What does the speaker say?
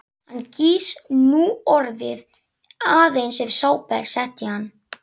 Hann gýs núorðið aðeins ef sápa er sett í hann.